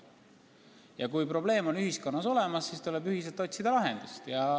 Ja kui probleem on ühiskonnas olemas, siis tuleb ühiselt otsida lahendust.